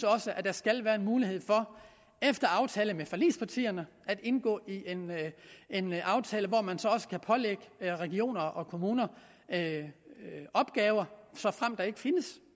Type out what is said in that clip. der skal være mulighed for efter aftale med forligspartierne at indgå i en aftale hvor man så også kan pålægge regioner og kommuner opgaver såfremt der ikke findes